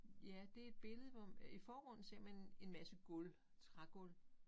Ja det et billede hvor i forgrunden ser man en masse gulv trægulv